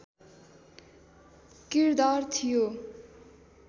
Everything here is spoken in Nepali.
किरदार थियो